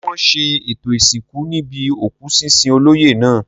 Ǹjẹ́ wọn ṣe ètò ìsìnkú níbi òkú sísin olóyè náà?